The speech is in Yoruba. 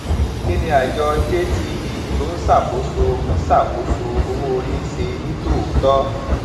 kí ni àjọ jtb tó ń ṣàkóso ń ṣàkóso owó orí ń ṣe ní tòótọ